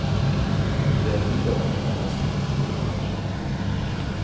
De er fire unge mennesker, to av hvert kjønn.